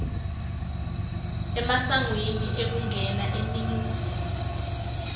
emasangweni ekungena eningizimu